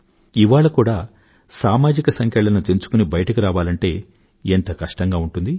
ఇవాళ కూడా సమాజిక సంకెళ్ళను తెంచుకుని బయటకు రావాలంటే ఎంత కష్టంగా ఉంటుంది